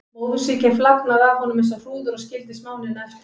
Móðursýkin flagnaði af honum eins og hrúður og skildi smánina eftir.